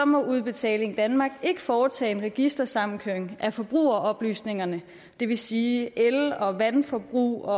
må udbetaling danmark ikke foretage en registersamkøring af forbrugeroplysninger det vil sige el og vandforbrug